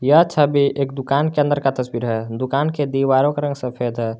यह छवि एक दुकान के अंदर का तस्वीर है दुकान के दीवारों का रंग सफेद है।